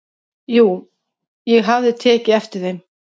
"""Jú, ég hafði tekið eftir þeim."""